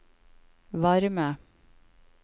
varme